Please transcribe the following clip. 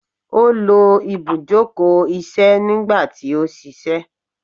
o lo ibujoko iṣẹ nigba ti o ṣiṣẹ